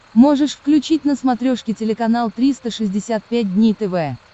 можешь включить на смотрешке телеканал триста шестьдесят пять дней тв